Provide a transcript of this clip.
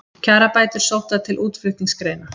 Kjarabætur sóttar til útflutningsgreina